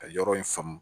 Ka yɔrɔ in faamu